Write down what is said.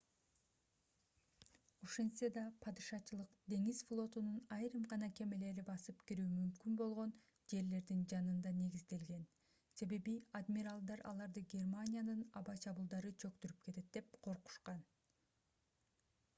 ошентсе да падышачылык деңиз флотунун айрым гана кемелери басып кирүү мүмкүн болгон жерлердин жанында негизделген себеби адмиралдар аларды германиянын аба чабуулдары чөктүрүп кетет деп коркушкан